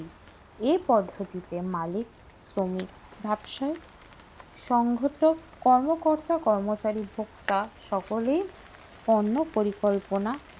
এই পদ্ধতিতে মালিক শ্রমিক ব্যবসায়ী সঙ্গত কর্মকর্তা কর্মচারী ভোক্তা সকলেই অন্য পরিকল্পনা